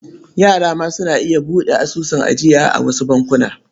Yara ma suna iya buɗe asusun ajiya a wasu bankuna.